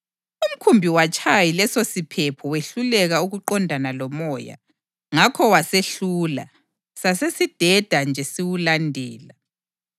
Umkhumbi watshaywa yilesosiphepho wehluleka ukuqondana lomoya; ngakho wasehlula sasesindenda nje siwulandela.